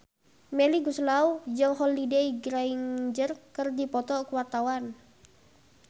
Melly Goeslaw jeung Holliday Grainger keur dipoto ku wartawan